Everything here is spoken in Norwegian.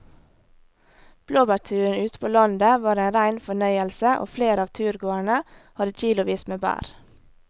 Blåbærturen ute på landet var en rein fornøyelse og flere av turgåerene hadde kilosvis med bær.